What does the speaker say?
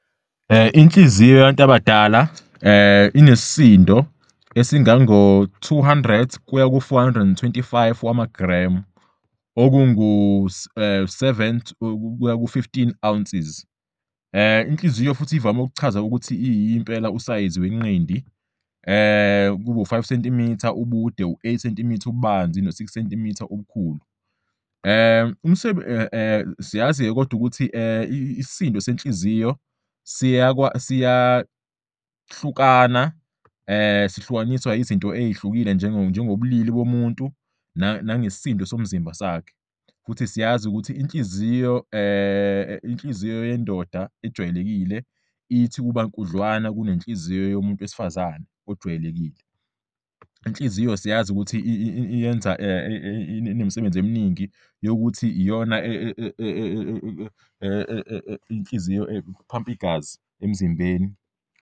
Inhliziyo yabantu abadala inesisindo esingama-250-350 amagremu, 9-12 oz. Inhliziyo ivame ukuchazwa njengosayizi wenqindi- cm, 5 in, ubude, 8 cm, 3.5 in, ububanzi, no-6 cm, 2.5 in, ngobukhulu, yize le ncazelo iphikiswa, ngoba inhliziyo kungenzeka ibe nkudlwana.